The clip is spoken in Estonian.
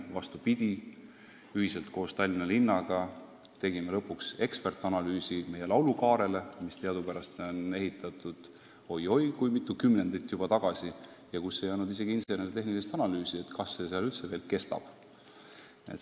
Vastupidi, tegime ühiselt koos Tallinna linnaga lõpuks eksperdianalüüsi meie laulukaarele, mis teadupärast on ehitatud juba oi-oi kui mitu kümnendit tagasi ja mille kohta ei olnud isegi insener-tehnilist analüüsi, kas see veel vastu peab.